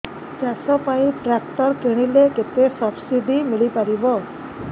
ଚାଷ ପାଇଁ ଟ୍ରାକ୍ଟର କିଣିଲେ କେତେ ସବ୍ସିଡି ମିଳିପାରିବ